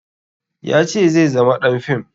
Ya ce zai zama ɗan fim